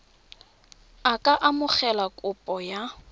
a ka amogela kopo ya